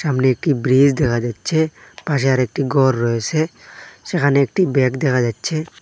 সামনে একটি ব্রিজ দেখা যাচ্ছে পাশে আরেকটি গর রয়েসে সেখানে একটি ব্যাগ দেখা যাচ্ছে।